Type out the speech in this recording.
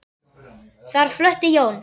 Þar flutti Jón